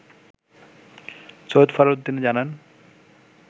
সৈয়দ ফরহাদ উদ্দিন জানান